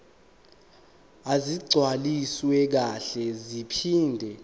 ezigcwaliswe kahle zaphinde